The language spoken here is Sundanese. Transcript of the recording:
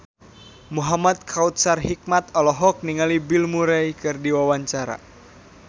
Muhamad Kautsar Hikmat olohok ningali Bill Murray keur diwawancara